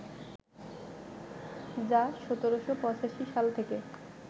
যা ১৭৮৫ সাল থেকে